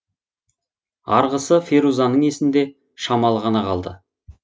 арғысы ферузаның есінде шамалы ғана қалды